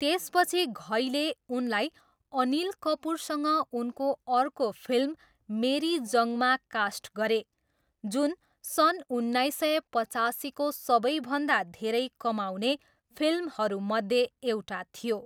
त्यसपछि घईले उनलाई अनिल कपुरसँग उनको अर्को फिल्म मेरी जङ्गमा कास्ट गरे, जुन सन् उन्नाइस सय पचासीको सबैभन्दा धेरै कमाउने फिल्महरूमध्ये एउटा थियो।